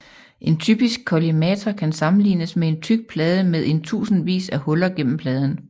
En typisk kollimator kan sammenlignes med en tyk plade med en tusindvis af huller gennem pladen